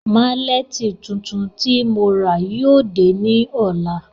Màlẹ́ti tuntun ti mo rà yóò dẹ ni ọla.